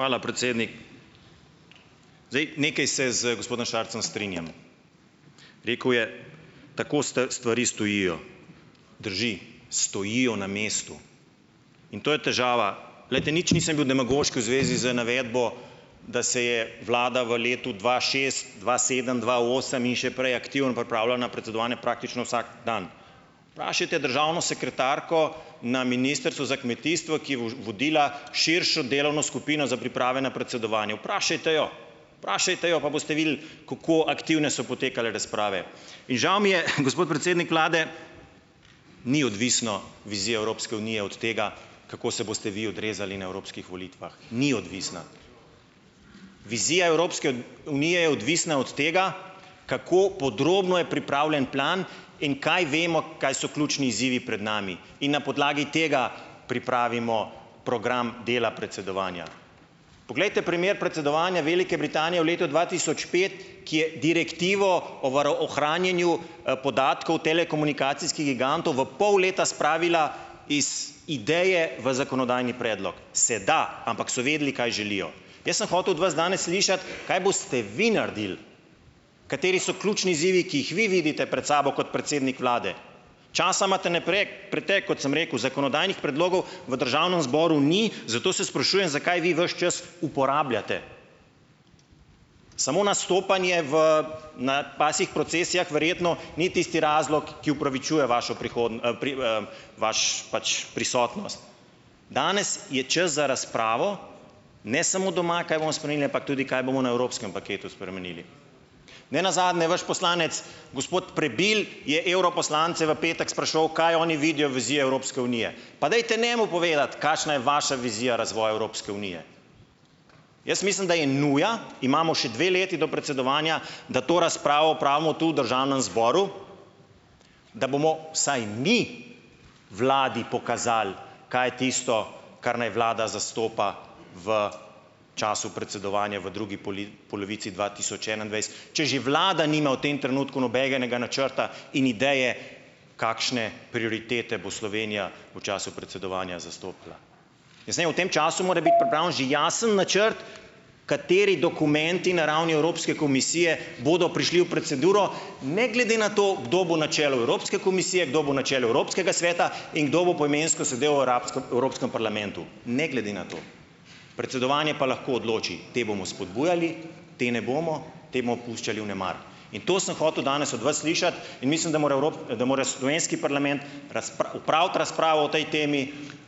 Hvala, Zdaj, nekaj se z gospodom Šarcem strinjam. Rekel je, tako stvari stojijo. Drži, stojijo na mestu. In to je težava. Glejte, nič nisem bil demagoški v zvezi z navedbo, da se je vlada v letu dva dva sedem, dva osem in še prej na predsedovanje praktično vsak dan. državno sekretarko na ministrstvu za kmetijstvo, ki je vodila širšo delovno skupino za priprave na predsedovanje. Vprašajte jo, vprašajte jo, pa boste videli, kako aktivne so potekale razprave. In žal mi je, gospod predsednik vlade, ni odvisna vizija Evropske unije od tega, kako se boste vi odrezali na evropskih volitvah, ni odvisna. Vizija Evropske unije je odvisna od tega, kako podrobno je pripravljen plan in kaj vemo, kaj so ključni izzivi pred nami. In na podlagi tega pripravimo program dela predsedovanja. Poglejte primer predsedovanja Velike Britanije v letu dva tisoč pet, ki je direktivo o ohranjanju, podatkov telekomunikacijskih gigantov v pol leta spravila iz ideje v zakonodajni predlog. Se da, ampak so vedeli, kaj želijo. Jaz sem hotel od vas danes slišati , kaj boste vi naredili, kateri so ključni izzivi, ki jih vi vidite pred sabo kot predsednik vlade. Časa imate na pretek, kot sem rekel, zakonodajnih predlogov v državnem zboru ni, zato se sprašujem, zakaj vi ves čas uporabljate. Samo nastopanje v na pasjih procesijah verjetno ni tisti razlog, ki opravičuje vašo vaš pač prisotnost. Danes je čas za razpravo, ne samo doma, kaj bomo spremenili, ampak tudi kaj bomo na evropskem paketu spremenili. Ne nazadnje vaš poslanec gospod Prebil je evroposlance v petek spraševal, kaj oni vidijo vizijo Evropske unije. Pa dajte njemu povedati, kakšna je vaša vizija razvoja Evropske unije. Jaz mislim, da je nuja. Imamo še dve leti do predsedovanja, da to razpravo opravimo tu v državnem zboru, da bomo vsaj mi vladi pokazali, kaj je tisto, kar naj vlada zastopa v času predsedovanja v drugi polovici dva tisoč če že vlada nima v tem trenutku nobenega načrta in ideje, kakšne prioritete bo Slovenija v času predsedovanja zastopala. Jaz v tem času more biti že jasen načrt, kateri dokumenti na ravni Evropske komisije bodo prišli v proceduro, ne glede na to, kdo bo na čelu Evropske komisije, kdo bo na čelu Evropskega sveta in kdo bo poimensko sedel v arabskem Evropskem parlamentu. Ne glede na to. Predsedovanje pa lahko odloči, te bomo spodbujali, te ne bomo, te puščali vnemar. In to sem hotel danes od vas slišati. In mislim, da more da more slovenski parlament opraviti razpravo o tej temi.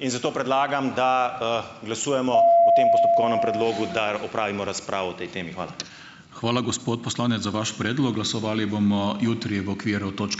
In zato predlagam, da, glasujemo o tem postopkovnem predlogu, da opravimo razpravo o tej temi. Hvala. Hvala, gospod poslanec, za vaš predlog. Glasovali bomo jutri v okviru točke ...